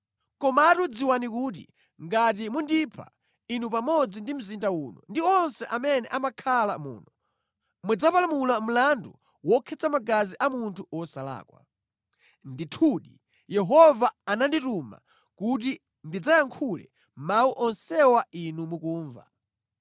Komatu dziwani kuti ngati mundipha, inu pamodzi ndi mzinda uno ndi onse amene amakhala muno, mudzapalamula mlandu wokhetsa magazi a munthu wosalakwa. Ndithudi Yehova anandituma kuti ndidzayankhule mawu onsewa inu mukumva.”